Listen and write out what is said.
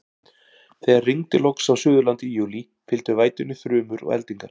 Þegar rigndi loks á Suðurlandi í júlí, fylgdu vætunni þrumur og eldingar.